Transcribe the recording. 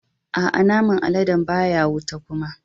Aa, naman aladen baya wuta kuma.